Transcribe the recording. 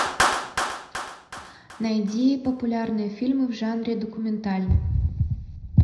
найди популярные фильмы в жанре документальный